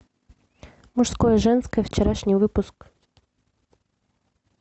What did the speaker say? мужское женское вчерашний выпуск